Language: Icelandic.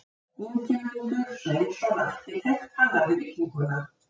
Ingimundur Sveinsson arkitekt hannaði bygginguna.